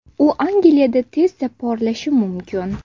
U Angliyada tezda porlashi mumkin.